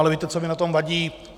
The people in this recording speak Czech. Ale víte, co mi na tom vadí?